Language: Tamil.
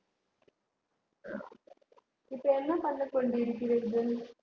இப்ப என்ன பண்ணி கொண்டிருக்கிறீர்கள்